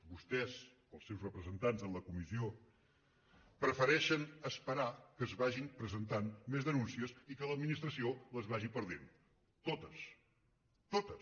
vostès els seus representants en la comissió prefe·reixen esperar que es vagin presentant més denúnci·es i que l’administració les vagi perdent totes totes